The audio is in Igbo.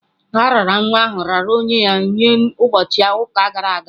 A raara nwa ahụ raara onwe ya nye ụbọchị ụka gara aga.